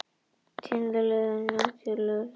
Tíðindalítil nótt hjá lögreglu